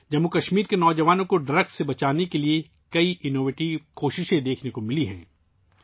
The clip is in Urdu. جموں و کشمیر کے نوجوانوں کو منشیات سے بچانے کے لیے کئی اختراعی کوششیں دیکھنے کو ملی ہیں